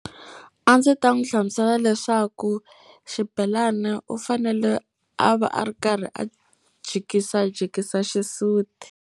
A ndzi ta n'wi hlamusela leswaku xibelani u fanele a va a ri karhi a jikisajikisa xisuti.